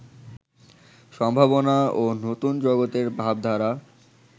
সম্ভাবনা ও নতুন জগতের ভাবধারা